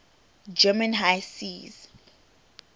german high seas